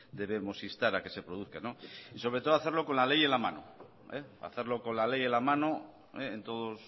debemos instar a que se produzca y sobre todo hacerlo con la ley en la mano hacerlo con la ley en la mano en todos